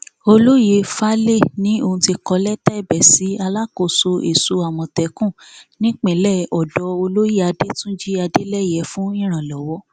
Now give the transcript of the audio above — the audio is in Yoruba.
olóyè faláé ni òun ti kọ lẹtà ẹbẹ sí alákòóso èso àmọtẹkùn nípìnlẹ ọdọ olóyè adẹtúnjì adeleye fún ìrànlọwọ